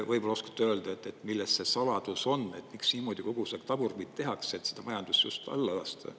Võib-olla oskate öelda, milles see saladus on, miks niimoodi tagurpidi tehakse, et seda majandust just alla lasta?